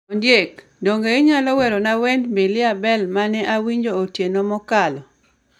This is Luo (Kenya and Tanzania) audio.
Ondiek, donge inyalo werona wend Mbilia Bel ma ne awinjo otieno mokalo?